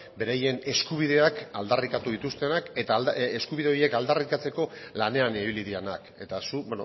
beraien eskubideak aldarrikatu dituztenak eta eskubide horiek aldarrikatzeko lanean ibili direnak eta zuk